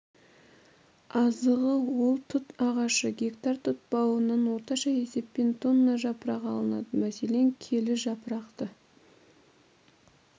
азығы ол тұт ағашы гектар тұт бауынан орташа есеппен тонна жапырақ алынады мәселен келі жапырақты